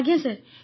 ଆଜ୍ଞା ସାର୍